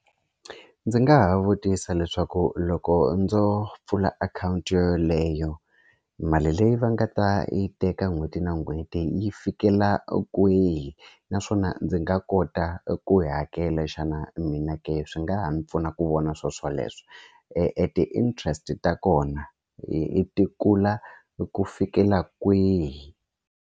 Ndzi nga ha vutisa leswaku loko ndzo pfula akhawunti yoyoleyo mali leyi va nga ta yi teka n'hweti na n'hweti yi fikela kwihi naswona ndzi nga kota ku yi hakela xana mina ka swi nga ha mi pfuna ku vona swoswoleswo e ti-interest ta kona hi ti kula hi ku fikela kwihi.